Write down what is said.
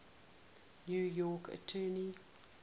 new york attorney